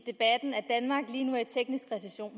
teknisk recession